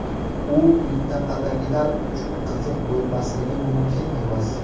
U mintaqadagilar uchun qiziq bo‘lmasligi mumkin emas.